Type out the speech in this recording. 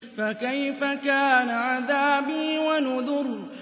فَكَيْفَ كَانَ عَذَابِي وَنُذُرِ